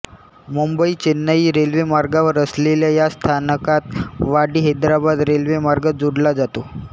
मुंबई चेन्नई रेल्वेमार्गावर असलेल्या या स्थानकात वाडीहैदराबाद रेल्वेमार्ग जोडला जातो